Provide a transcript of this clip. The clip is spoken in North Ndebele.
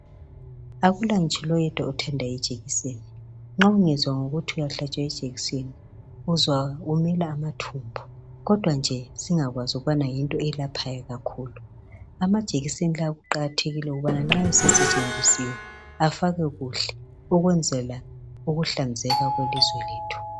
Akula ngitsho loyedwa othanda ijekiseni .Nxa ungezwa ngokuthi uyahlatshwa ijekiseni uzwa umila amathumbu Kodwa nje singakwazi ukubana yinto eyelaphayo kakhulu. Amajekiseni lawa kuqakathekile ukuthi nxa esesetshenzisiwe afakwe kuhle okwenzela ukuhlanzeka kwelizwe lethu.